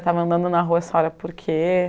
estava andando na rua, essa hora por quê?